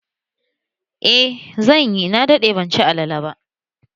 Eh zanyi, na daɗe ban ci alale ba